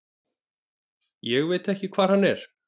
Ég veit ekki hver hann er.